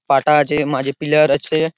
পাটা আছে মাঝে পিলার আছে।